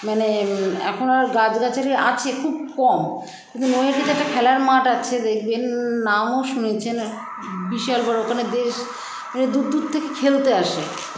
মানে এখন আর গাছগাছালি আছে খুব কম কিন্তু নৈহাটিতে একটা খেলার মাঠ আছে দেখবেন, নামও শুনেছেন বিশাল বড়ো ওখানে দেশ মানে দূর দূর থেকে খেলতে আসে